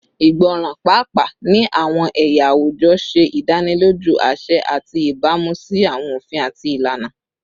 Igbọran, paapaa ni awọn ẹya awujọ, ṣe idaniloju aṣẹ ati ibamu si awọn ofin ati ilana